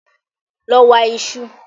Lọ wa iṣu!